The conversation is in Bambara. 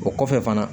O kɔfɛ fana